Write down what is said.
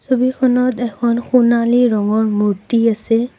ছবিখনত এখন সোণালী ৰঙৰ মূৰ্ত্তি আছে।